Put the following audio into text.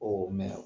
o mɛn